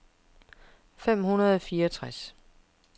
fem hundrede og fireogtres